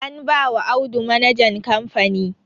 Anbawa Audu manajan kamfani